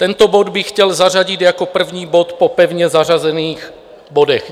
Tento bod bych chtěl zařadit jako první bod po pevně zařazených bodech.